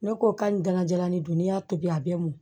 Ne ko ka nin gankajalan nin dun n'i y'a tobi a bɛ mɔn